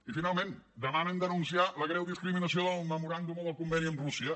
i finalment demanen denunciar la greu discriminació del memoràndum o del conveni amb rússia